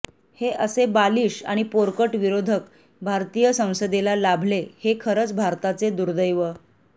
हे असे बालिश आणि पोरकट विरोधक भारतीय संसेदेला लाभले हे खरच भारताचे दुर्दैव